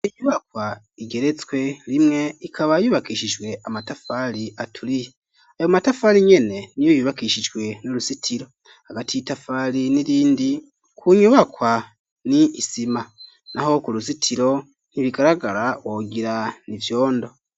Inyubakwa igeretswe rimwe ikaba yubakishijwe amatafari aturiye, ayo matafari nyene niyo yubakishijwe n'uruzitiro, hagati y'itafari n'irindi ku nyubakwa ni isima, naho ku ruzitiro ntibigaragara wogira nivyondo.